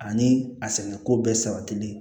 Ani a sɛnɛko bɛɛ sabatilen